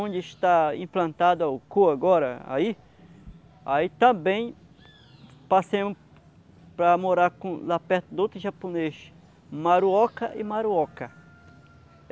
onde está implantada a agora, aí aí também passei para morar lá perto de outro japonês, Maruoka e Maruoka.